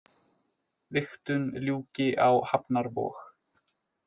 Vigtun ljúki á hafnarvog